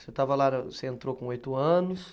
Você estava, você entrou com oito anos.